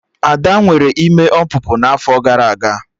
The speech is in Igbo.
Ada nwere ime ọpụpụ n'afọ gara aga